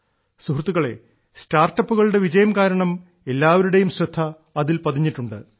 സുഹൃത്തുക്കളേ സ്റ്റാർട്ടപ്പുകളുടെ വിജയം കാരണം എല്ലാവരുടെയും ശ്രദ്ധ അതിൽ പതിഞ്ഞിട്ടുണ്ട്